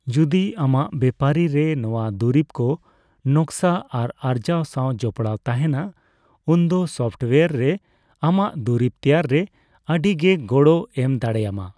ᱡᱩᱫᱤ ᱟᱢᱟᱜ ᱵᱮᱯᱟᱨᱤ ᱨᱮ ᱱᱚᱣᱟ ᱫᱩᱨᱤᱵ ᱠᱚ ᱱᱚᱠᱥᱟ ᱟᱨ ᱟᱨᱡᱟᱣ ᱥᱟᱣ ᱡᱚᱯᱚᱲᱟᱣ ᱛᱟᱦᱮᱱᱟ, ᱩᱱᱫᱚ ᱥᱚᱯᱷᱴᱣᱟᱨ ᱨᱮ ᱟᱢᱟᱜ ᱫᱩᱨᱤᱵ ᱛᱮᱭᱟᱨ ᱨᱮ ᱟᱹᱰᱤ ᱜᱮ ᱜᱚᱲᱚᱭ ᱮᱢ ᱫᱟᱲᱮᱭᱟᱢᱟ ᱾